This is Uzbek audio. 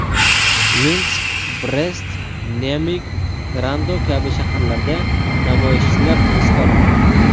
Minsk, Brest, Nemig, Grodno kabi shaharlarda namoyishchilar hibsga olingan.